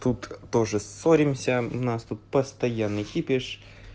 тут тоже ссоримся у нас тут постоянный кипиш